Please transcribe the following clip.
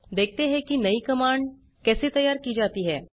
देखते हैं कि नयी कमांड कैसे तैयार की जाती है